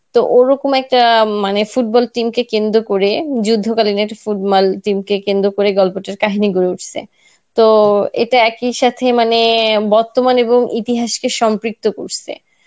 তো ওরকম একটা মানে football team কে কেন্দ্র করে যুদ্ধকালীন একটা football team কে কেন্দ্র করে গল্পটার কাহিনী গড়ে উঠসে. তো এটা একই সাথে মানে বর্তমান এবং ইতিহাসকে সম্পৃক্ত করসে.